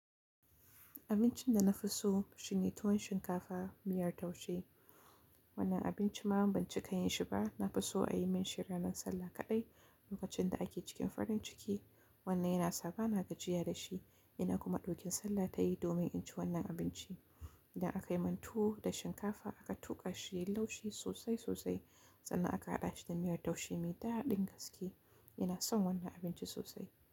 Abincin da na fi so shine tuwon shinkafa miyar taushe. Wannan abinci ma ban ci kayan shi ba, na fi so a yi min shi ranar Sallah kaɗai. Lokacin da ake cikin farin ciki, wannan yana saba, na gajiya da shi. Ina kuma ɗukin Sallah tayi domin in ci wannan abinci. Idan aka yi mantuwa da shinkafa aka tuƙa shi, ya laushi sosai sosai sannan aka haɗa shi da miyar taushe, me daɗin gaske. Ina son wannan abinci sosai.